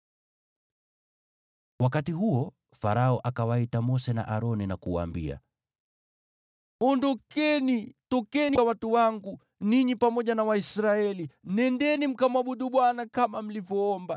Wakati huo Farao akawaita Mose na Aroni na kuwaambia, “Ondokeni! Tokeni kwa watu wangu, ninyi pamoja na Waisraeli! Nendeni mkamwabudu Bwana kama mlivyoomba.